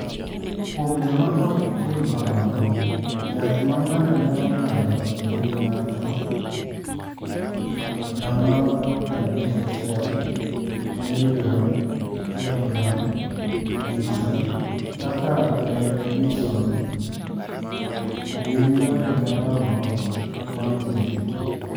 "Kuom joma ok timo kamano, yath ma ng’ato nyalo ng’ado e wi ng’ato (0.51 mg/kg/odiechieng’), kaka prednisone, gin yore madongo mag thieth."